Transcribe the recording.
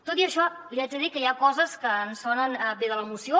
tot i això li haig de dir que hi ha coses que ens sonen bé de la moció